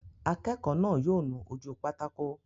Akẹ́kọ̀ọ́ náà yóò nu ojú pátákó